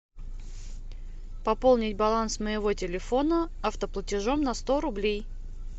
пополнить баланс моего телефона автоплатежом на сто рублей